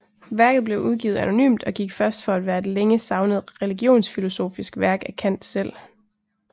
Værket blev udgivet anonymt og gik først for at være et længe savnet religionsfilosofisk værk af Kant selv